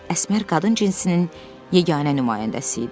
Əsmər qadın cinsinin yeganə nümayəndəsi idi.